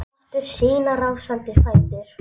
Fann aftur sína rásandi fætur.